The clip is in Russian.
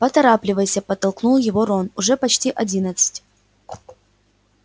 поторапливайся подтолкнул его рон уже почти одиннадцать